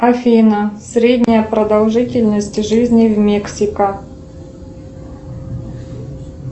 афина средняя продолжительность жизни в мексика